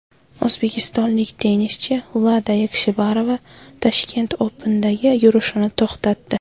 O‘zbekistonlik tennischi Vlada Yakshibarova Tashkent Open’dagi yurishini to‘xtatdi.